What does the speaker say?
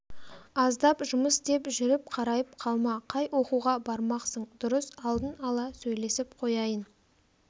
аздап жұмыс деп жүріп қарайып қалма қай оқуға бармақсың дұрыс алдын ала сөйлесіп қояйын